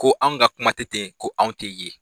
Ko an ka kuma tɛ ten ko anw tɛ ye.